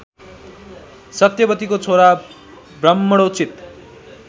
सत्यवतीको छोरा ब्राह्मणोचित